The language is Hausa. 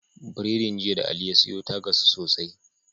Biredin jiya da ali ya siyo ya gasu sosai